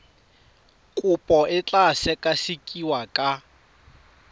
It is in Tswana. kopo e tla sekasekiwa ka